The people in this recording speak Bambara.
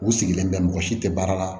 U sigilen bɛ mɔgɔ si tɛ baara la